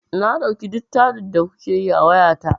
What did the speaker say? Na ɗauki duk taɗin da kuke yi a wayata.